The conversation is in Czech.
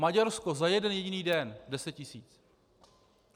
Maďarsko za jeden jediný den 10 tisíc!